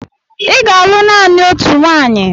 Ị ga-alụ naanị otu nwanyị!